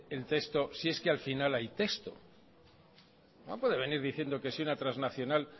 el texto si es que al final hay texto no puede venir diciendo que si una transnacional